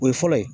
O ye fɔlɔ ye